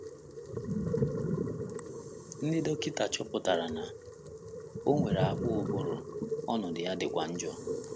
Ndị dọkịta chọpụtara na o nwere akpụ ụbụrụ, ọnọdụ ya dịkwa njọ.